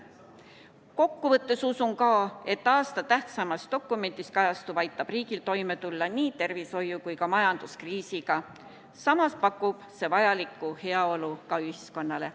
Kokkuvõttes usun, et aasta tähtsaimas dokumendis kajastuv aitab riigil toime tulla nii tervishoiu- kui ka majanduskriisiga, samas pakub see vajalikku heaolu ühiskonnale.